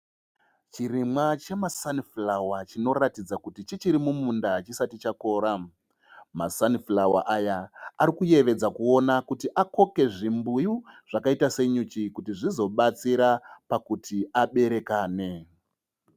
Chirimwa chemasanifurawo chinoratidza kuti chichiri mumunda hachisati chakora. Masanifurawa aya arikuyevedza kuona kuti akoke zvimbuyu zvakaita senyuchi kuti zvizobatsira pakuti aberekane.